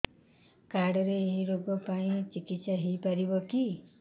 card ରେ ଏଇ ରୋଗ ପାଇଁ ଚିକିତ୍ସା ହେଇପାରିବ କି